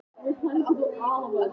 Jonni, hver er dagsetningin í dag?